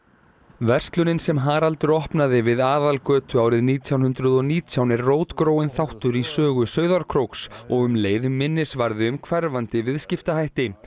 verslunin sem Haraldur opnaði við Aðalgötu árið nítján hundruð og nítján er rótgróinn þáttur í sögu Sauðárkróks og um leið minnisvarði um hverfandi viðskiptahætti